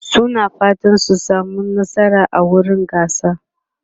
suna fatan su samu nasara a wurin gasar